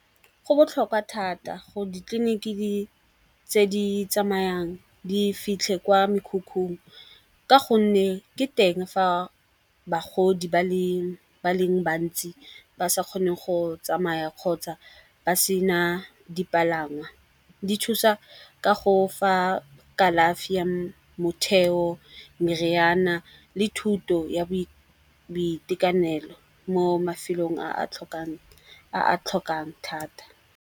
Go botlhokwa thata gore ditleliniki tse di tsamayang di fitlhe kwa mekhukhung, ka gonne ke teng fa bagodi ba leng bantsi ba sa kgone go tsamaya kgotsa ba sena dipalangwa. Di thusa ka go fa kalafi ya motheo, meriana le thuto ya boitekanelo mo mafelong a a tlhokang thata.